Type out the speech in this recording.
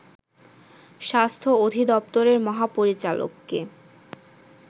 স্বাস্থ্য অধিদপ্তরের মহাপরিচালককে